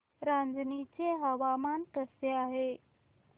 रांझणी चे हवामान कसे आहे